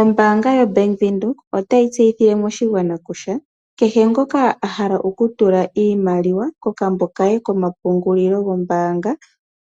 Ombanga yo Bank Windhoek otayi tseyithile moshigwana kusha keshe ngoka ahala okutula iimaliwa kokambo kaye komapungulilo gwombanga